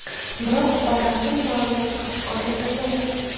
Biroq batafsil ma’lumot oshkor etilmayapti.